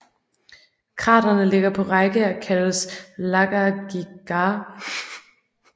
Kraterne ligger på række og kaldes Lakagìgar